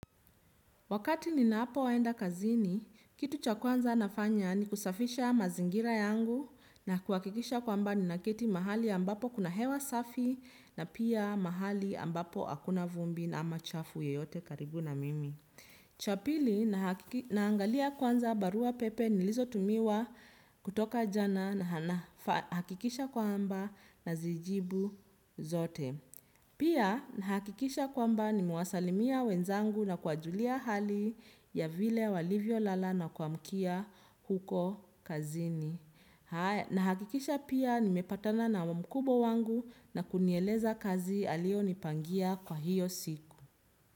Wakati ninapo enda kazini, kitu cha kwanza nafanya ni kusafisha mazingira yangu na kuhakikisha kwamba ni nakiti mahali ambapo kuna hewa safi na pia mahali ambapo akuna vumbi na ama chafu yeyote karibu na mimi. Chapili na hangalia kwanza barua pepe nilizo tumiwa kutoka jana na hakikisha kwamba na zijibu zote. Pia na hakikisha kwamba nimewasalimia wenzangu na kuwajulia hali ya vile walivyo lala na kwa mkia huko kazini. Na hakikisha pia ni mepatana na mkubwa wangu na kunieleza kazi alio nipangia kwa hiyo siku.